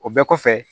O bɛɛ kɔfɛ